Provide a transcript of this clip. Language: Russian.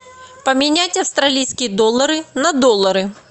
поменять австралийские доллары на доллары